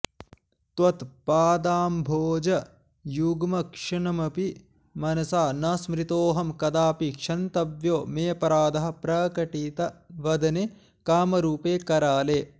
त्वत्पादाम्भोज युग्मङ्क्षणमपि मनसा न स्मृतोहं कदापि क्षन्तव्यो मेऽपराधः प्रकटित वदने कामरूपे कराले